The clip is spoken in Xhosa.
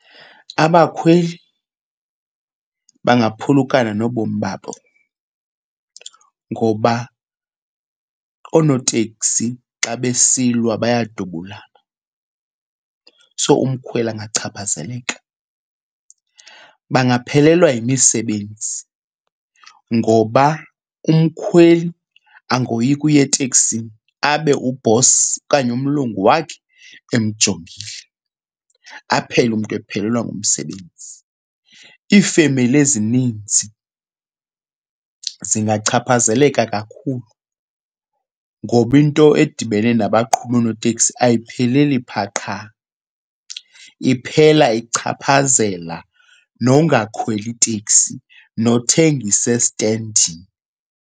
Abakhweli bangaphulukana nobomi babo ngoba oonoteksi xa besilwa bayadubulana, so umkhweli angachaphazeleka. Bangaphelelwa yimisebenzi ngoba umkhweli angoyika uya eteksini abe ubhosi okanye umlungu wakhe emjongile, aphele umntu ephelelwa ngumsebenzi. Iifemeli ezininzi zingachaphazeleka kakhulu ngoba into edibene nabaqhubi oonoteksi ayipheleli phaa qha, iphela ichaphazela nongakhweli teksi nothengisa estendini.